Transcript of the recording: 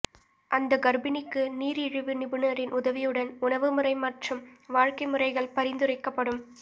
அந்த கர்ப்பிணிக்கு நீரிழிவு நிபுணரின் உதவியுடன் உணவுமுறை மற்றும் வாழ்க்கைமுறைகள் பரிந்துரைக்கப்படும்